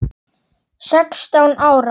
Sextán ára?